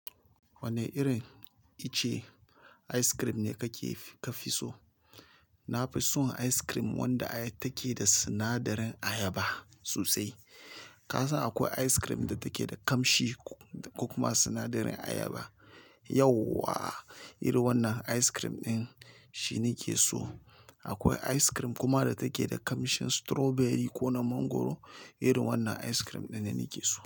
Wane irin ice ice cream ne kake ka fi so? Na fi son ice cream wanda ai take da sinadarin ayaba sosai. Ka san akwai ice cream da take da kamshi da kokuma sinadarin ayaba. Yauwa, irin wannan ice cream ɗin shi nike so. Akwai ice cream kuma da take da kamshin strawberry ko na mangwaro. Irin wannan ice cream ɗin ne nake so.